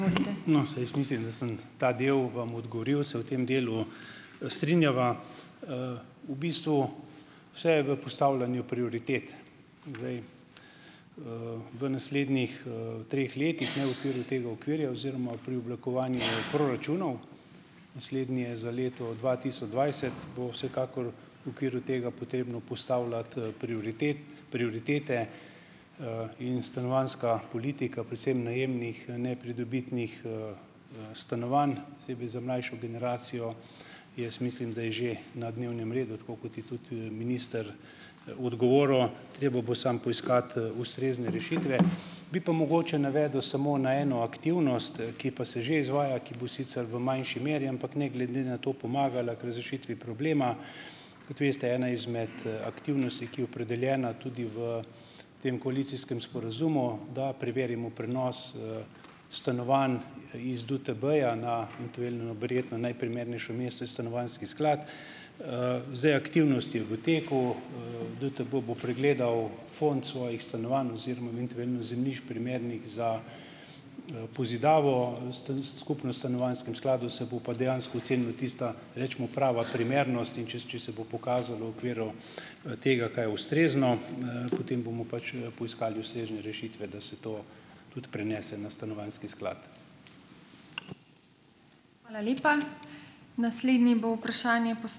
No, saj jaz mislim, da sem ta del vam odgovoril, se v tem delu strinjava. V bistvu vse je v postavljanju prioritet. V naslednjih, treh letih, ne okviru tega okvirja oziroma pri oblikovanju proračunov, naslednji je za leto dva tisoč dvajset, bo vsekakor v okviru tega potrebno postavljati, prioritete, in stanovanjska politika, predvsem najemnih, nepridobitnih stanovanj, posebej za mlajšo generacijo, jaz mislim, da je že na dnevnem redu, tako kot je tudi, minister odgovoril. Treba bo samo poiskati, ustrezne rešitve. Bi pa mogoče navedel samo na eno aktivnost, ki pa se že izvaja, ki bo sicer v manjši meri, ampak ne glede to pomagala k razrešitvi problema. Kot veste, ena izmed aktivnosti, ki je opredeljena tudi v tem koalicijskem sporazumu, da preverimo prenos stanovanj iz DUTB-ja na eventuelno verjetno najprimernejšo mesto je stanovanjski sklad. Zdaj, aktivnost je v teku, DUTB bo pregledal fond svojih stanovanj oziroma eventuelno zemljišč, primernih za pozidavo. Skupno s stanovanjskim skladom se bo pa dejansko ocenila tista, recimo prava primernost, in če če se bo pokazalo v okviru tega, kaj je ustrezno, potem bomo pač poiskali ustrezne rešitve, da se to tudi prenese na stanovanjski sklad.